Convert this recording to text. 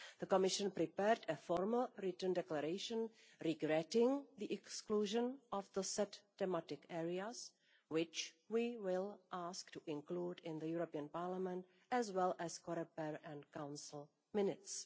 The Commission prepared a formal written declaration regretting the exclusion of the set thematic areas, which we will ask to have included in the European Parliament, as well as Coreper and Council, minutes.